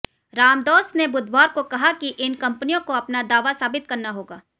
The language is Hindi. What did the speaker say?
रामदॉस ने बुधवार को कहा कि इन कंपनियों को अपना दावा साबित करना होगा